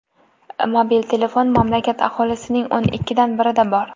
Mobil telefon mamlakat aholisining o‘n ikkidan birida bor.